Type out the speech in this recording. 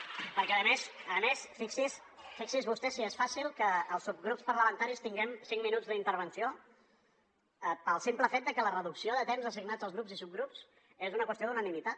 perquè a més fixi’s vostè si és fàcil que els subgrups parlamentaris tinguem cinc minuts d’intervenció pel simple fet que la reducció de temps assignat als grups i subgrups és una qüestió d’unanimitat